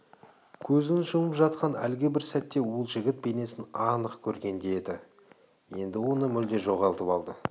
көзін жұмып жатқан әлгі бір сәтте ол жігіт бейнесін анық көргендей еді енді оны мүлде жоғалтып алды